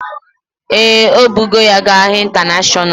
Ee, o bugo ya ga ahịa intanashonal